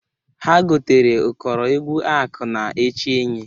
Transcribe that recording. Ha gotara ụkọrọ egwu akụ na-eche enyi.